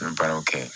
N bɛ baaraw kɛ